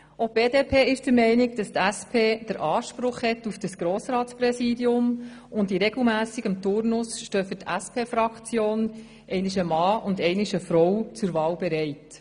Auch die BDP ist der Meinung, die SP habe Anspruch auf das Grossratspräsidium, und in regelmässigem Turnus stehen für die SPFraktion jeweils im Wechsel ein Mann und eine Frau zur Wahl bereit.